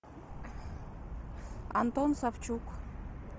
антон савчук